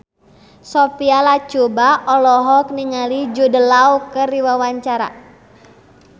Sophia Latjuba olohok ningali Jude Law keur diwawancara